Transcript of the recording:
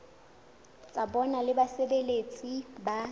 tsa bona le basebeletsi ba